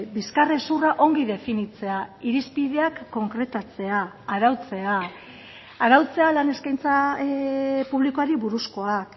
bizkarrezurra ongi definitzea irizpideak konkretatzea arautzea arautzea lan eskaintza publikoari buruzkoak